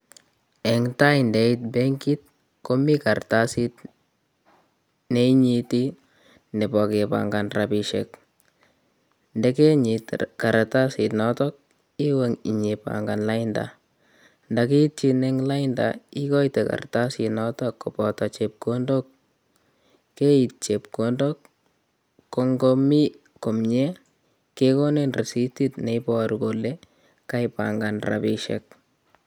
Eng' tai ndeiit benkit komi kartasiit neinyiti nebo kepangan rabisiek, ndegenyiit kartasit nootok iwe inyipangan lainda, ndakiitchin ing' lainda ikoite kartasit nootok kobooto chepkondok keiit chepkondok ko ngotko mi komnyie kekonin risiitit neiboru kole kaipangan rabisiek